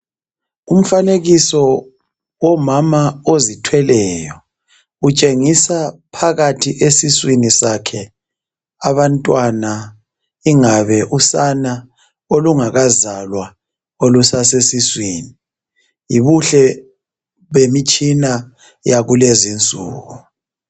Umfanekiso omama ozithweleyo .Utshengisa phakathi esiswini sakhe abantwana ingabe usana olungakazalwa olusasesiswini .Yibuhle bemitshina yakulezi nsuku .